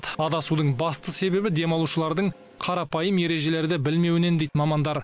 адасудың басты себебі демалушылардың қарапайым ережелерді білмеуінен дейді мамандар